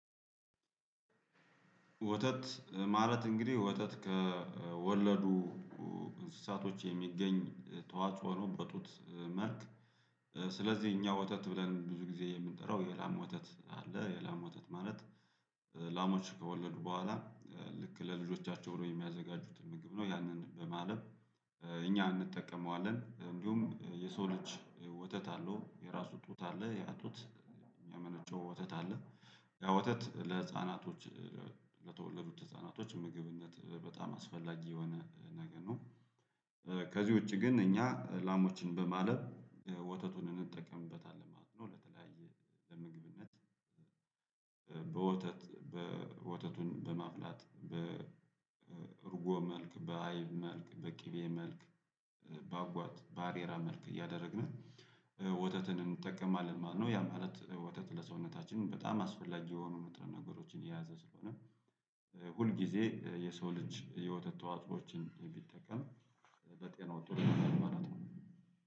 ወተት ማለት እንግዲህ ወተት ከወለዱ እንስሳቶች የሚገኝ ተዋእጾ ነው በጡት መልክ ስለዚህ እኛ ወተት ብለን ብዙ ጊዜ የምንጠራው የላም ወተት አለ የላም ወተት ማለት ላሞች ከወለዱ በኋላ ልክ ለልጆቻቸው ብሎ የሚያዘጋጁት ምግብ ነው ያንን በማለት እኛ አንጠቀመዋለን እንዲሁም የሰው ልጅ ወተት አለው የራሱ ጡት አለ ያ ጡት የሚያመነጨው ወተት አለ ያ ወተት ለህፃናቶች ለተወለዱት ህፃናቶች ምግብነት በጣም አስፈላጊ የሆነ ነገር ነው። ከዚህ ውጪ ግን እኛ ላሞችን በማለብ ወተቱን እንጠቀምበታለን ማለት ነው ለተለያየ ለምግብነት። በወተት በወተቱን በማፍላት በርጎ መልክ በአይብ መልክ በቅቤ መልክ በአጓት ባሬራ መልክ እያደረግን ወተትን እንጠቀማለን ማለት ነው። ያ ማለት ወተት ለሰውነታችን በጣም አስፈላጊ የሆኑ ንጥረ ነገሮችን የያዘ ስለሆነ ሁል ጊዜ የሰው ልጅ የወተት ተዋእጾችን ቢጠቀም በጤና ጥሩ ይሆናል ማለት ነው